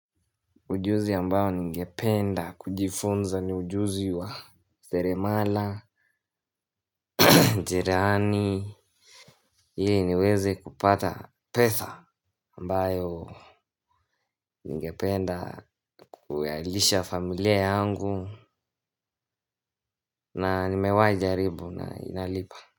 Ujuzi ambao ningependa kujifunza ni ujuzi wa seremala, cherehani, ili niweze kupata pesa ambayo ningependa kuwalisha familia yangu na nimewai jaribu na inalipa.